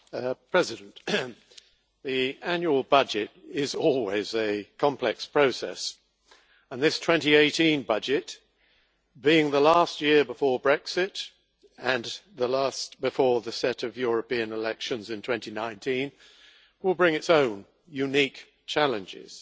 Mr President, the annual budget is always a complex process and this 2018 budget, being the last year before Brexit and the last before the set of European elections in 2019, will bring its own unique challenges.